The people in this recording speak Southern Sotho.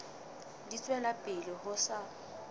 di tswela pele ho sa